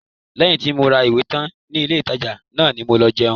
Lẹ́yìn tí mo ra ìwé tán ní ilé-ìtàjà náà ni mo lọ jẹun